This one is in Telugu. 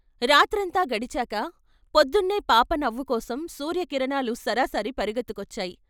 రాత్రంతా గడిచాక పొద్దున్నే పాప నవ్వు కోసం సూర్య కిర ణాలు సరసర పరుగెత్తుకొచ్చాయి.